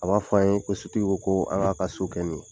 A b'a fɔ an ye ko sotigi ko an k'a ka so kɛ min ye .